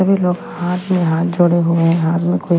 सभी लोग हाथ में हाथ जोड़े हुए हैं हाथ में कोई --